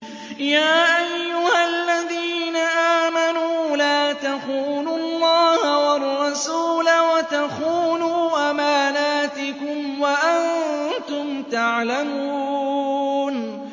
يَا أَيُّهَا الَّذِينَ آمَنُوا لَا تَخُونُوا اللَّهَ وَالرَّسُولَ وَتَخُونُوا أَمَانَاتِكُمْ وَأَنتُمْ تَعْلَمُونَ